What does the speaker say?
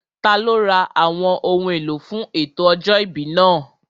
Taló ra àwọn ohun èlò fún ètò ọjọ́ ìbí náà?